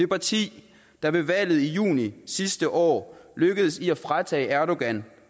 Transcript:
parti der ved valget i juni sidste år lykkedes med at fratage erdogan